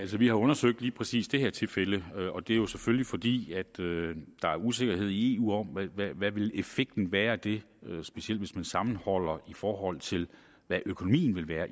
vi har undersøgt lige præcis det her tilfælde og det er jo selvfølgelig fordi der er usikkerhed i eu om hvad effekten vil være af det specielt hvis man sammenholder i forhold til hvad økonomien vil være